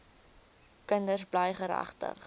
kinders bly geregtig